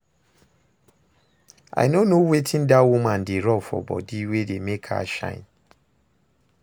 I no know wetin dat woman dey rub for body wey dey make her shine